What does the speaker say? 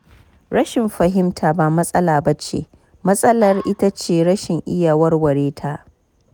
Rashin fahimta ba matsala ba ce, matsalar ita ce rashin iya warware ta.